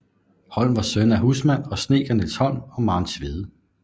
Holm var søn af husmand og snedker Niels Holm og Maren Tvede